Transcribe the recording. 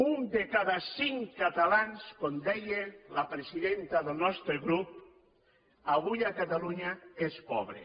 un de cada cinc catalans com deia la presidenta del nostre grup avui a catalunya és pobre